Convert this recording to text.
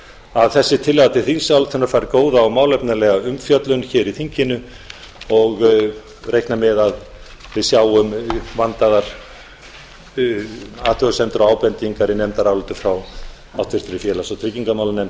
að þessi tillaga til þingsályktunar fær góða og málefnalega umfjöllun í þinginu og reikna með að við sjáum vandaðar athugasemdir og ábendingar í nefndarálitum frá háttvirtri félags og tryggingamálanefnd